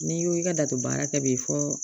N'i ko i ka da to baara kɛ bi fɔ